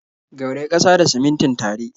Gauraya ƙasa da simintin tare.